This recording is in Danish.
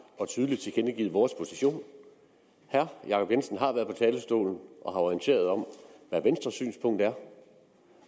og tydeligt tilkendegivet vores position herre jacob jensen har været på talerstolen og har orienteret om hvad venstres synspunkt er